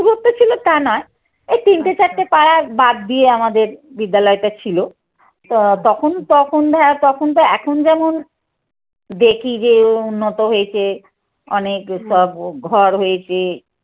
দূরত্ব ছিল তা নয়। এই তিনটে চারটে পাড়া বাদ দিয়ে আমাদের বিদ্যালয়টা ছিল। তো তখন তখন তো এখন যেমন দেখি যে ও উন্নত হয়েছে অনেক সব ঘর হয়েছে